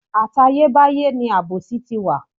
Àtayé báyé ni àbòsí ti wà.